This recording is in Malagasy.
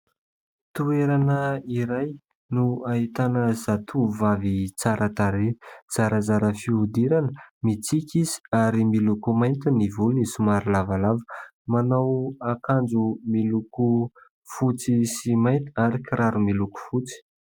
Toerana iray no ahitana zatovovavy tsara tarehy, zarazara fihodirana, mitsiky izy ary miloko mainty ny volony somary lavalava, manao akanjo miloko fotsy sy mainty ary kiraro miloko fotsy.